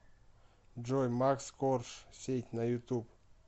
джой макс корж сеть на ютуб